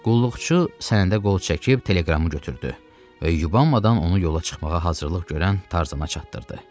Qulluqçu sənədə qol çəkib teleqramı götürdü və yubanmadan onu yola çıxmağa hazırlıq görən Tarzana çatdırdı.